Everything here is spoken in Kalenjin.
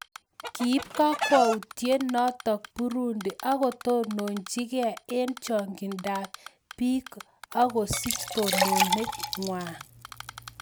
Kiip kakwautio notok burundi akotononchi gei eng chongindok ap piik akosich tononet ngwang